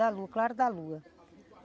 Da lua, claro da lua.